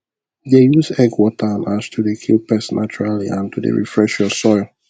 dey use egg water and ash to dey kill pest naturally and to dey refresh your soil